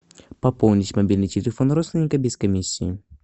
пополнить мобильный телефон родственника без комиссии